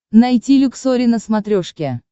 найти люксори на смотрешке